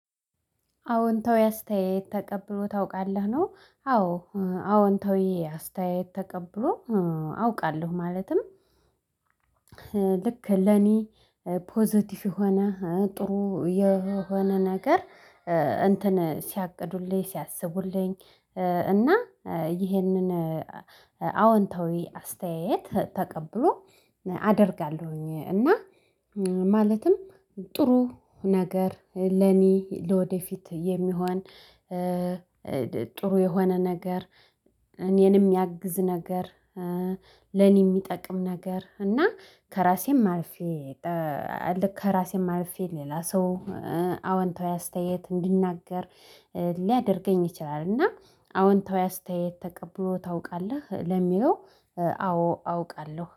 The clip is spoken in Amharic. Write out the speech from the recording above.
"አዎንታዊ አስተያየት ተቀብሎ ታውቃለህ ነው?" አዎ አዎንታዊ አስተያየት ተቀብሎ አውቃለሁ ማለትም ልክ ለኔ ፖዘቲቭ የሆነ ጥሩ የሆነ ነገር እንትን ሲያቅዱልኝ ሲያስቡልኝ እና ይሄንን አወንታዊ አስተያየት ተቀብሎ አደርጋለሁኝ እና ማለትም ጥሩ ነገር ለኔ ለወደፊት የሚሆን ጥሩ የሆነ ነገር እኔን ሚያግዝ ነገር ለኔ የሚጠቅም ነገር እና ከራሴም አልፌ ከራሴም አልፌ ሌላ ሰው አዎንታዊ አስተያየት እንድናገር ሊያደርገኝ ይችላል እና "አዎንታዊ አስተያየት ተቀብሎ ታውቃለህ?" ለሚለው፣ አዎ አውቃለሁ።